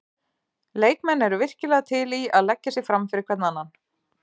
Leikmenn eru virkilega til í að leggja sig fram fyrir hvern annan.